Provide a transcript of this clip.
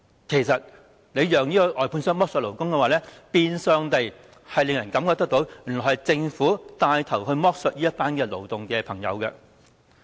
其實讓外判商剝削勞工，變相令人覺得是政府帶頭剝削這群勞動工友。